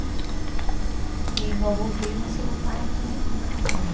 E meu avô veio nascer meu pai aqui no Brasil.